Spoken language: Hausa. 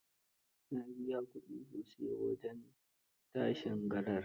Na biya ƙudi sosai wajen tashin garar.